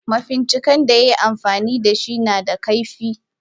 Mafincikan da yayi amfanida dashi nada kaifi.